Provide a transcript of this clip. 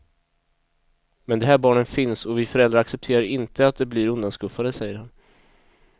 Men de här barnen finns och vi föräldrar accepterar inte att de blir undanskuffade, säger han.